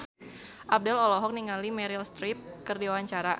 Abdel olohok ningali Meryl Streep keur diwawancara